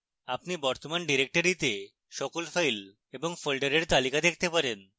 আপনি বর্তমান ডিরেক্টরীতে সকল files এবং folders তালিকা দেখতে পারেন